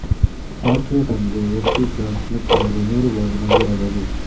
ಆಕೆಯ ತಂದೆ M P John Smith ರವರು ಮೂರು ಬಾರಿ ಮದುವೆಯಾದರು